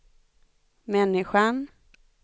människan